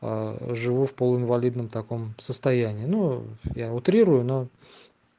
живу в полу инвалидном таком состоянии ну я утрирую но